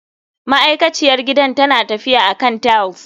Ma'aikaciyar gidan tana tafiya akan tiles.